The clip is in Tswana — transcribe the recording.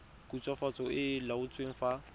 khutswafatso e e laotsweng fa